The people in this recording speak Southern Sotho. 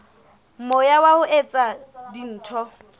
moya wa ho etsa dintho